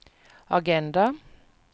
agenda